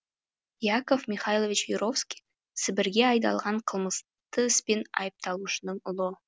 яков михайлович юровский сібірге айдалған қылмысты іспен айыпталушының ұлы